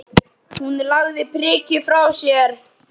Hún lagði prikið frá sér.